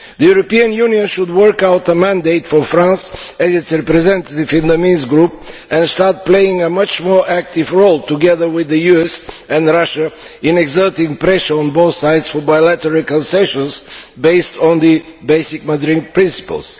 The European Union should work out a mandate for France and its representative in the Minsk Group and start playing a much more active role, together with the US and Russia, in exerting pressure on both sides for bilateral concessions based on the basic Madrid principles.